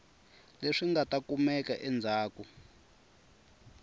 leswi nga ta kumeka endzhaku